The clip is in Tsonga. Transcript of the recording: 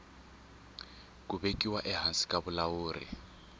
ku vekiwa ehansi ka vulawuri